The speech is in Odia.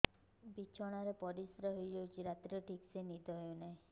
ବିଛଣା ରେ ପରିଶ୍ରା ହେଇ ଯାଉଛି ରାତିରେ ଠିକ ସେ ନିଦ ହେଉନାହିଁ